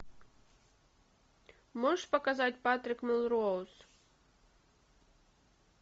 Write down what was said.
можешь показать патрик мелроуз